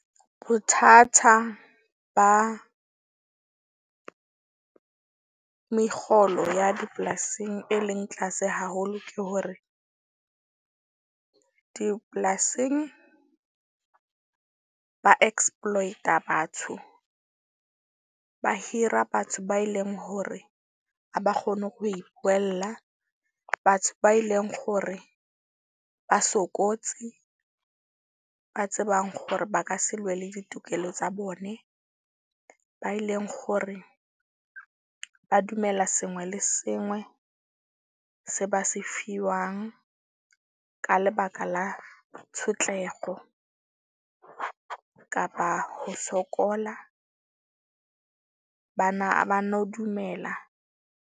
Bothata ba mekgolo ya dipolasing, e leng tlase haholo ke hore, dipolasing ba exploit-a batho. Ba hira batho ba e leng hore ha kgone ho ipuwella. Batho ba eleng hore ba sokotse, ba tsebang hore ba ka se lwele ditokelo tsa bone. Ba e leng hore ba dumela sengwe le sengwe se ba se fiwang. Ka lebaka la tshotlego kapa ho sokola. Bana ba no dumela.